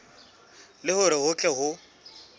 le hore ho tle ho